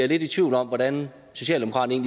lidt i tvivl om hvordan socialdemokraterne